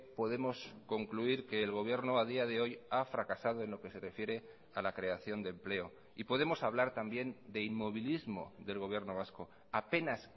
podemos concluir que el gobierno a día de hoy ha fracasado en lo que se refiere a la creación de empleo y podemos hablar también de inmovilismo del gobierno vasco apenas